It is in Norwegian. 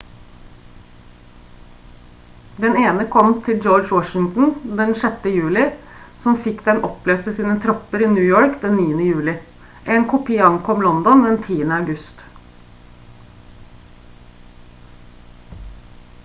den ene kom til george washington den 6. juli som fikk den opplest til sine tropper i new york den 9. juli en kopi ankom london den 10. august